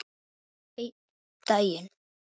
Einn daginn?